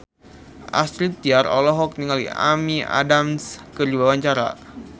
Astrid Tiar olohok ningali Amy Adams keur diwawancara